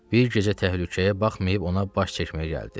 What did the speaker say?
Bir gecə təhlükəyə baxmayıb ona baş çəkməyə gəldi.